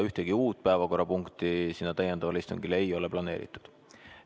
Ühtegi uut päevakorrapunkti sellele täiendavale istungile ei ole planeeritud.